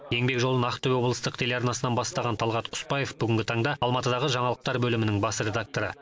еңбек жолын ақтөбе облыстық телеарнасынан бастаған талғат құспаев бүгінгі таңда алматыдағы жаңалықтар бөлімінің бас редакторы